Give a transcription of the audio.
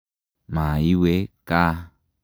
Ma iwe kaa.